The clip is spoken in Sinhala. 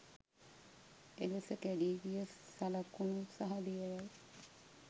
එලෙස කැඩී ගිය සලකුණු සහ දියවැල්